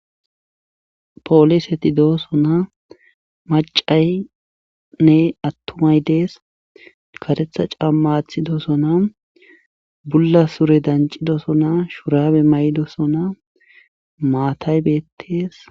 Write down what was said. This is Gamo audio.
Polishe tidooso na macaynne attumay dees katetha cammaathi doosona bulla sure dancidoso na shurabe maydosona maatay bettees.